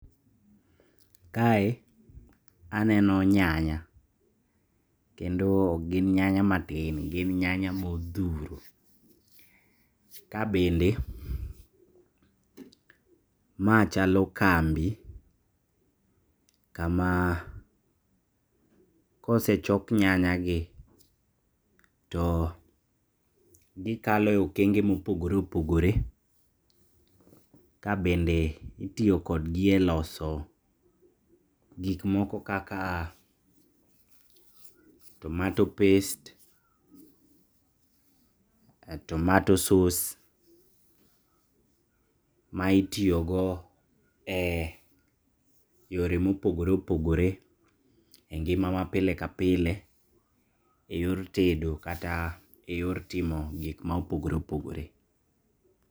Kae aneno nyanya kendo ok gin nyanya matin gin nyanya modhuro. Kabende ma chalo kambi kama kosechok nyanyagi too gikalo e kenge mopogore opogore kabende itiyo kodgi eloso gik moko kaka tomato past ,tomato source ma itiyogo e eyore ma ogore opogore e ngimawa pile ka pile eyor tedo kata eyor timo gik ma opogore opogore.